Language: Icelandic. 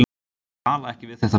Ég tala ekki við þetta ber.